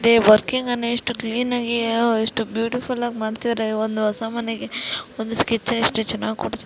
ದೆ working ಅನ್ನೆ ಎಷ್ಟು ಕ್ಲೀನಾಗಿ ಎಷ್ಟು ಬ್ಯೂಟಿಫುಲ್ ಆಗ್ ಮಾಡ್ತಿದಾರೆ ಒಂದು ಹೊಸ ಮನೆಗೆ ಒಂದು ಸ್ಕೆಚ್ ನ ಎಷ್ಟು